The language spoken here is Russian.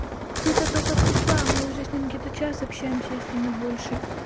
ты то только пришла мы уже с ним где то час общаемся если не больше